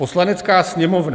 Poslanecká sněmovna